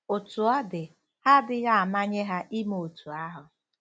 Otú ọ dị, ha adịghị amanye ha ime otú ahụ.